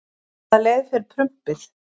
Hvaða leið fer prumpið?